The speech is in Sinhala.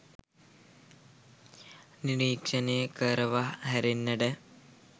නිරීක්ෂණය කරනවා හැරෙන්නට